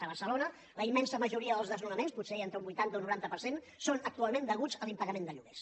a barcelona la immensa majoria dels desnonaments potser hi ha entre un vuitanta un noranta per cent són actualment deguts a l’impagament de lloguers